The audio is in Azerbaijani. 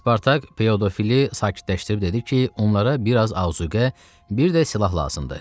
Spartak Pedofili sakitləşdirib dedi ki, onlara biraz azuqə, bir də silah lazımdır.